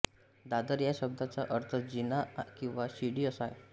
दादर या शब्दाचा अर्थ जिना किंवा शिडी असा आहे